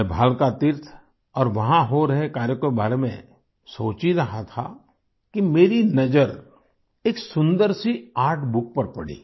मैं भालका तीर्थ और वहाँ हो रहे कार्यों के बारे में सोच ही रहा था कि मेरी नज़र एक सुन्दर सी आर्टबुक पर पड़ी